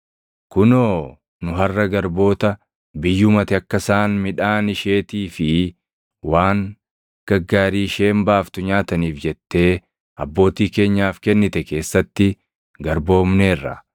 “Kunoo nu harʼa garboota; biyyuma ati akka isaan midhaan isheetii fi waan gaggaarii isheen baaftu nyaataniif jettee abbootii keenyaaf kennite keessatti garboomneerra.